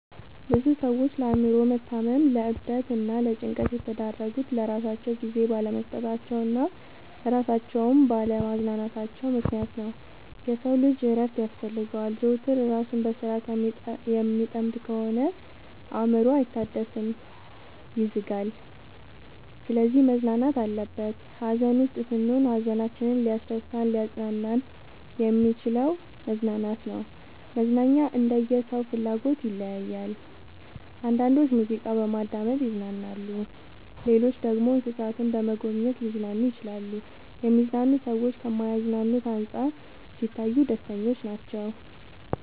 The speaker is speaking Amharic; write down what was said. ብዙ ሰዎች ለአእምሮ መታመም ለዕብደት እና ለጭንቀት የተዳረጉት ለራሳቸው ጊዜ ባለመስጠታቸው እና እራሳቸውን ባለ ማዝናናታቸው ምክንያት ነው። የሰው ልጅ እረፍት ያስፈልገዋል። ዘወትር እራሱን በስራ ከሚጠምድ ከሆነ አእምሮው አይታደስም ይዝጋል። ስለዚህ መዝናናት አለበት። ሀዘን ውስጥ ስንሆን ሀዘናችንን ሊያስረሳን እናሊያፅናናን የሚችለው መዝናናት ነው። መዝናናኛ እንደየ ሰው ፍላጎት ይለያያል። አንዳንዶች ሙዚቃ በማዳመጥ ይዝናናሉ ሌሎች ደግሞ እንሰሳትን በመጎብኘት ሊዝናኑ ይችላሉ። የሚዝናኑ ሰዎች ከማይዝናኑት አንፃር ሲታዩ ደስተኞች ናቸው።